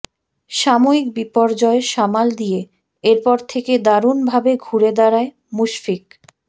সাময়িক বিপর্যয় সামাল দিয়ে এরপর থেকে দারুণ ভাবে ঘুরে দাঁড়ায় মুশফিক